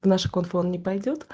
наш купон не пойдёт